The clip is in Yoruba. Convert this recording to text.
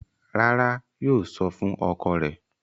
Rárá, yóò sọ fún ọkọ rẹ̀.